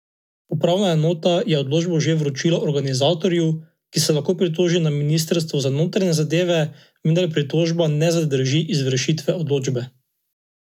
Upravna enota je odločbo že vročila organizatorju, ki se lahko pritoži na ministrstvo za notranje zadeve, vendar pritožba ne zadrži izvršitve odločbe.